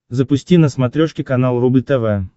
запусти на смотрешке канал рубль тв